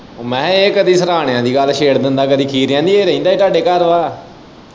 ਮੈਂ ਕਿਹਾ ਇਹ ਕਦੀ ਸਿਰਾਹਣਿਆਂ ਦੀ ਗੱਲ ਛੇੜ ਲੈਂਦਾ ਕਦੀ ਖੀਰਿਆਂ ਦੀ ਇਹ ਰਹਿੰਦਾ ਹੀ ਤੁਹਾਡੇ ਘਰ ਹੈ।